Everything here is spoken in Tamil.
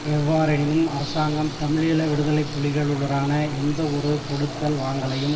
எவ்வாறெனினும் அரசாங்கம் தமிழீழ விடுதலை புலிகளுடனான எந்த ஒரு கொடுக்கல் வாங்கலையும்